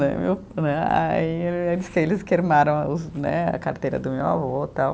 Né, aí diz que eles queimaram as o, né, a carteira do meu avô e tal.